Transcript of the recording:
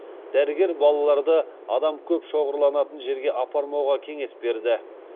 дәрігер балаларды адам көп шоғырланатын жерге апармауға кеңес берді